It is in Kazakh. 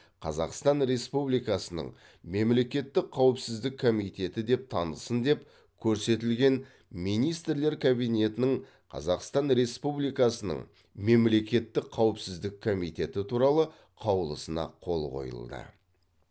қазақстан республикасының мемлекеттік қауіпсіздік комитеті деп танылсын деп көрсетілген министрлер кабинетінің қазақстан республикасының мемлекеттік қауіпсіздік комитеті туралы қаулысына қол қойылды